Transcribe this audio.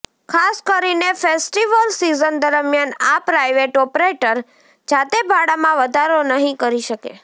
ખાસ કરીને festival season દરમિયાન આ પ્રાઈવેટ ઓપરેટર જાતે ભાડામાં વધારો નહીં કરી શકે